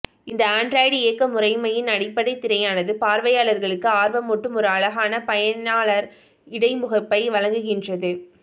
இந்த ஆண்ட்ராய்டு இயக்கமுறைமையின் அடிப்படை திரையானது பார்வையாளர்களுக்கு ஆர்வமூட்டும் ஒரு அழகான பயனாளர் இடைமுகப்பை வழங்குகின்றது